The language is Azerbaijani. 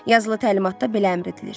Yazılı təlimatda belə əmr edilir.